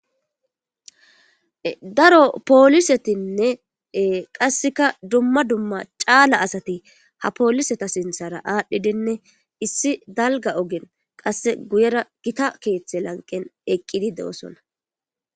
Daro polisetinne dumma dumma cala asat ha poliseta sinthara adhidinne daro dalga ogen qase guyera Gita kethe lanqen eqid de'osona.